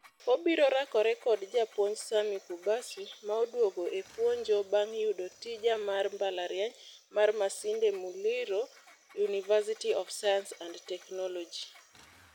Obiro rakore kod japuonj Sammy Kubasu maoduogo e puonjo bang' yudo tija ma mbalariany mar Masinde Muliro Universty of Science and Technology.